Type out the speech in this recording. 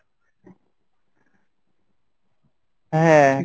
হ্যাঁ